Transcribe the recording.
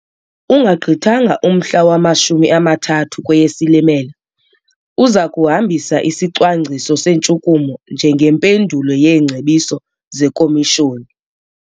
Ungagqithanga umhla wama-30 kweyeSilimela, uza kuhambisa isicwangciso sentshukumo njengempendulo yeengcebiso zeKomishoni.